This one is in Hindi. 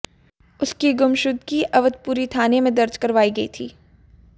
उसकी गुमशुदगी अवधपुरी थाने में दर्ज करवाई गई थी